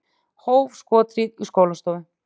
Hóf skothríð í skólastofu